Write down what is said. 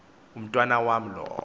umntwana wam lowo